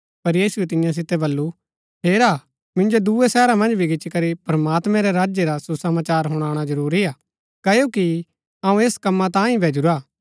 पर यीशुऐ तियां सितै बल्लू हेरा मिन्जो दुऐ शहरा मन्ज भी गिचीकरी प्रमात्मैं रै राज्य रा सुसमाचार हुणाणा जरूरी हा क्ओकि अऊँ ऐस कमां तांई ही भेजुरा हा